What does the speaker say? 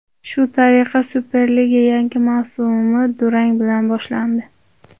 Shu tariqa Superliga yangi mavsumi durang bilan boshlandi.